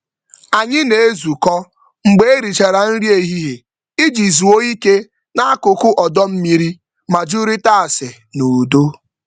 Anyị na-ezukọ mgbe e richara nri ehihie iji zuo ike n'akụkụ ọdọ mmiri ma jụrịta ase n'udo.